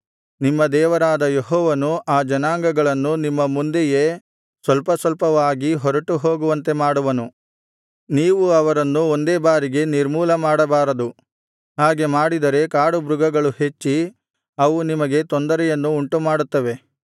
ನಿಮ್ಮ ದೇವರಾದ ಯೆಹೋವನು ಆ ಜನಾಂಗಗಳನ್ನು ನಿಮ್ಮ ಮುಂದೆಯೇ ಸ್ವಲ್ಪಸ್ವಲ್ಪವಾಗಿ ಹೊರಟು ಹೋಗುವಂತೆ ಮಾಡುವನು ನೀವು ಅವರನ್ನು ಒಂದೇ ಬಾರಿಗೆ ನಿರ್ಮೂಲಮಾಡಬಾರದು ಹಾಗೆ ಮಾಡಿದರೆ ಕಾಡುಮೃಗಗಳು ಹೆಚ್ಚಿ ಅವು ನಿಮಗೆ ತೊಂದರೆಯನ್ನು ಉಂಟುಮಾಡುತ್ತವೆ